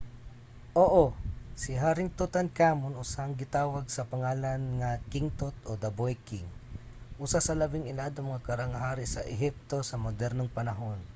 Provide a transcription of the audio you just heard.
oo! si haring tutankhamun usahay ginatawag sa pangalan nga king tut o the boy king usa sa labing iladong mga karaang hari sa ehipto sa modernong panahon